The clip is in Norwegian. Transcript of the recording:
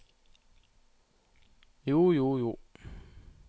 jo jo jo